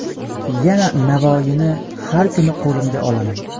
Yana Navoiyni har kuni qo‘limga olaman.